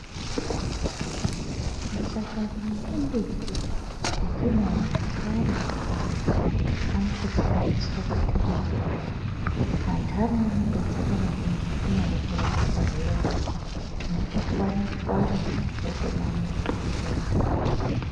Mashakani emimbiti etinoona akawanda akhona, anotoshandiswe kuite mitombo. Antani anodetsera maningi kunyari kurapa pazvironda. Unotochwanya-chwanya wotomaise pachironda.